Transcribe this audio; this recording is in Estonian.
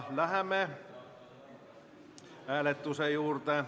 Läheme hääletuse juurde.